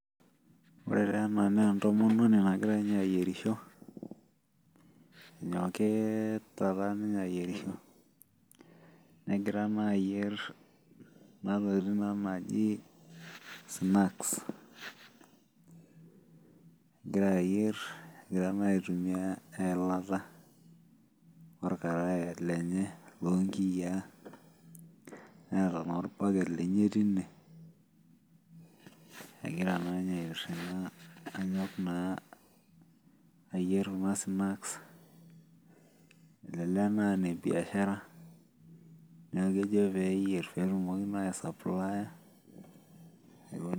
Ore taa ena naa entomononi nagira ninye aayierisho, enyokita taa ninye aayierisho, negira taa ayier Kuna tokitin taa naajo snacks .egira ayier egira naa aitumia eilata. orkaraye lenye loo nkiyiaa. neeta naa olbalet lenye tine. egora ninye aitiramga anyok naa. ayier Kuna snacks elelek naa aa ine biashara neeku kejo peeyiee pee etumoki naa ai supply